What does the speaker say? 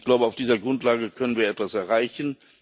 Ich glaube, auf dieser Grundlage können wir etwas erreichen.